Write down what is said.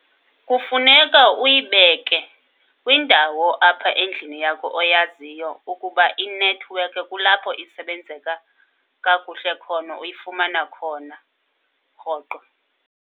Kufuneka uyibeke kwindawo apha endlini yakho oyaziyo ukuba inethiwekhi kulapho isebenzeka kakuhle khona, uyifumana khona rhoqo.